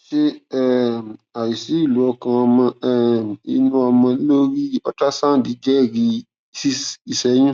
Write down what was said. ṣé um àìsí ìlù ọkàn ọmọ um inú ọmọ lórí ultrasound jẹrìí sí ìṣẹyún